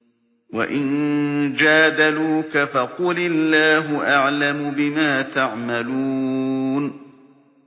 وَإِن جَادَلُوكَ فَقُلِ اللَّهُ أَعْلَمُ بِمَا تَعْمَلُونَ